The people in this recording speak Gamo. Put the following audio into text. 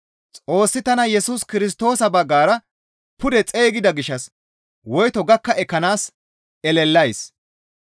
Xoossi tana Yesus Kirstoosa baggara pude xeygida gishshas woyto gakka ekkanaas elelays.